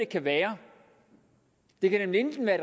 kan være det kan nemlig enten være